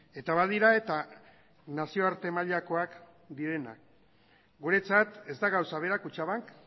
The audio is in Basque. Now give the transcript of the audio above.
eta badira eta nazioarte mailakoak direnak guretzat ez da gauza bera kutxabank